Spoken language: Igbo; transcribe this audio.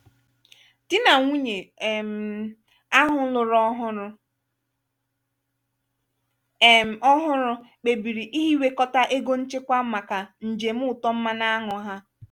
di na nwunye um ahụ lụrụ ọhụrụ um ọhụrụ kpebiri ihiwekọta ego nchekwa màkà njem ụtọ mmanụ añụ ha.